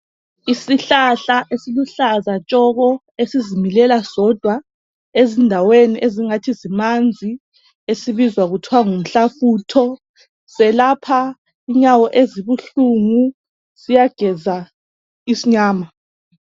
Isihlahla esiluhlaza tshoko esizimilela sodwa ezindaweni ezingathi zimanzi esibizwa kuthwa ngumhlafutho selapha inyawo ezibuhlungu siyageza isinyama